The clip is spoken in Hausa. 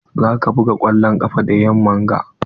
Za ka buga kwallon ƙafa da yamman ga?